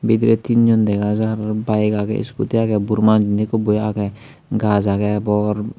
bidire tin jon dega jar aro bike agey scooty agey buro manuj indi ekku boi age gaj agey bor.